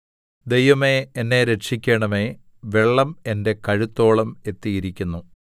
ദൈവമേ എന്നെ രക്ഷിക്കണമേ വെള്ളം എന്റെ കഴുത്തോളം എത്തിയിരിക്കുന്നു